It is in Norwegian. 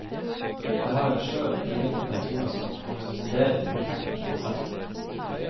Det har en skjør, lengtende tone som korresponderer perfekt med danserne.